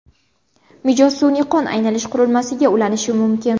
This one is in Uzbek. Mijoz sun’iy qon aylanish qurilmasiga ulanishi mumkin.